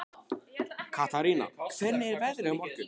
Katarína, hvernig er veðrið á morgun?